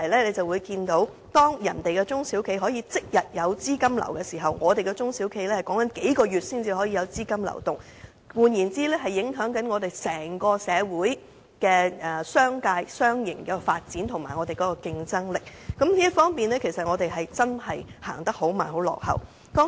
由此可見，當內地中小企能夠即日調動資金，而我們的中小企仍然要在數個月後才有資金流動時，這便會影響整個社會及商界的發展和競爭力，我們在這方面走得很慢、很落後。